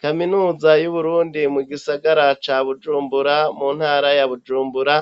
Kaminuza y'Uburundi mugisagara ca Bujumbura mu ntara ya Bujumbura